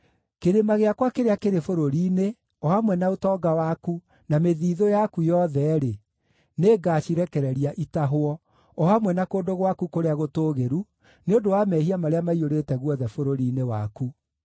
Kĩrĩma gĩakwa kĩrĩa kĩrĩ bũrũri-inĩ, o hamwe na ũtonga waku, na mĩthiithũ yaku yothe-rĩ, nĩngacirekereria itahwo, o hamwe na kũndũ gwaku kũrĩa gũtũũgĩru, nĩ ũndũ wa mehia marĩa maiyũrĩte guothe bũrũri-inĩ waku.